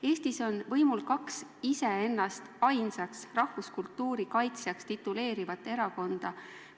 Eestis on võimul kaks iseennast ainsaks rahvuskultuuri kaitsjaks tituleerivat erakonda.